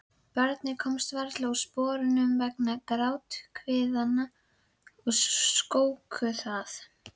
Barnið komst varla úr sporunum vegna gráthviðanna sem skóku það.